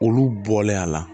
Olu bɔlen a la